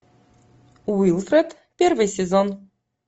уилфред первый сезон